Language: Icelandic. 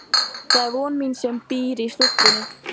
Það er von mín sem býr í stúlkunni.